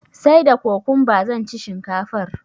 sai da cucumber zanci shinkafar